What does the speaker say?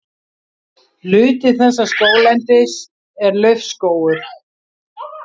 Hluti þessa skóglendis er laufskógur.